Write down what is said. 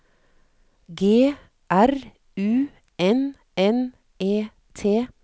G R U N N E T